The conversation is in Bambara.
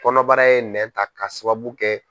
Kɔnɔbara ye nɛ ta ka sababu kɛ.